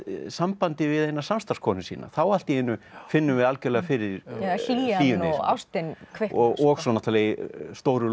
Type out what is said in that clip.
sambandi við eina samstarfskonu sína þá allt í einu finnum við algjörlega fyrir hlýjunni hlýjan og ástin kviknar og svo náttúrulega í stóru